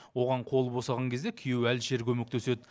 оған қолы босаған кезде күйеуі әлішер көмектеседі